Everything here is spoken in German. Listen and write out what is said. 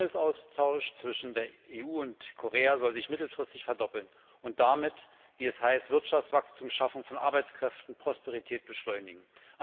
Der Handelsaustausch zwischen der EU und Korea soll sich mittelfristig verdoppeln und damit wie es heißt Wirtschaftswachstum, die Schaffung von Arbeitskräften und Prosperität beschleunigen.